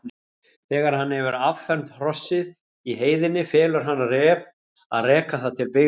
Þegar hann hefur affermt hrossið í heiðinni felur hann Ref að reka það til byggða.